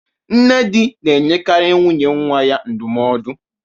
Nne di na-enyekarị nwunye nwa ya ndụmọdụ.